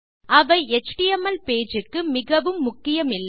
அவை HTML page க்கு மிகவும் முக்கியமில்லை